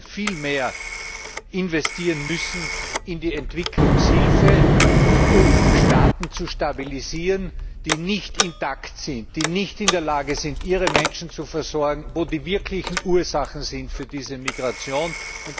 Wir werden viel mehr investieren müssen in die Entwicklungshilfe, um Staaten zu stabilisieren, die nicht intakt sind, die nicht in der Lage sind, ihre Menschen zu versorgen, wo die wirklichen Ursachen für diese Migration sind.